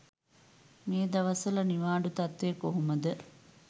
මේ දවස්වල නිවාඩු තත්වය කොහොමද.